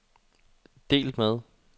delt med